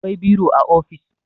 akwai biro a ofis